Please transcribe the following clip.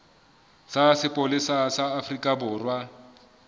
sa sepolesa sa afrika borwa